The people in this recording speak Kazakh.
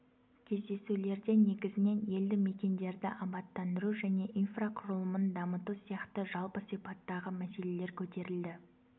кездесулерде негізінен елді мекендерді абаттандыру және инфрақұрылымын дамыту сияқты жалпы сипаттағы мәселелер көтерілді